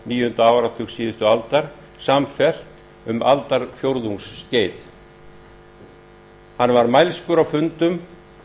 níunda áratug síðustu aldar samfellt um aldarfjórðungsskeið hann var mælskur á fundum